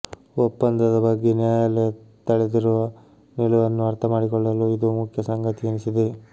ಒಪ್ಪಂದದ ಬಗ್ಗೆ ನ್ಯಾಯಾಲಯ ತಳೆದಿರುವ ನಿಲುವನ್ನು ಅರ್ಥಮಾಡಿಕೊಳ್ಳಲು ಇದು ಮುಖ್ಯ ಸಂಗತಿ ಎನಿಸಿದೆ